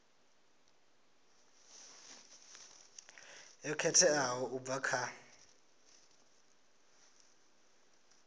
yo khetheaho u bva kha